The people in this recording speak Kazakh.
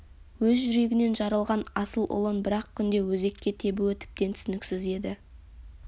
өз жүрегінен жаралған асыл ұлын бір-ақ күнде өзекке тебуі тіпті түсініксіз еді